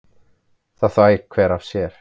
Það þvær hver af sér.